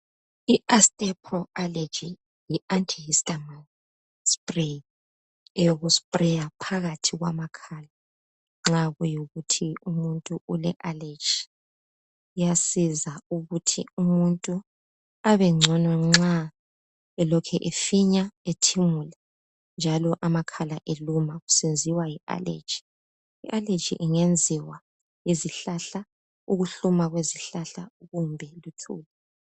I-Astepro Allergy, yi anti histum spray. Eyokuspraya phakathi kwamakhala. Nxa kuyikuthi umuntu ule allergy. Iyasiza ukuthi umuntu abengcono, nxa elokhu efinya, ethimula, njalo amakhala eluma. Kusenziwa yi allergy. I allergy ingenziwa yizihlahla, ukuhluma kwezihlahla. Kumbe luthuli.